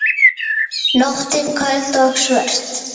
Nóttin köld og svört.